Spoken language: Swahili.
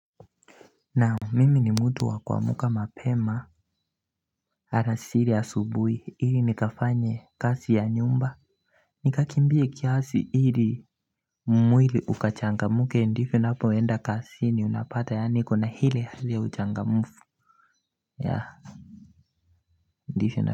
Naam mimi ni mtu wa kuamka mapema. Alasiri asubuhi ili nikafanye kazi ya nyumba. Nikakimbie kiasi ili mwili ukachangamke ndivyo napoenda kazini unapata yaani kuna ile hali ya uchangamfu yeah ndivyo na.